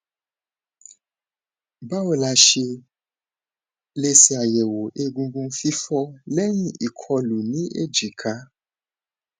báwo la ṣe lè ṣàyẹwò egungun fifo leyin ikolu ní èjìká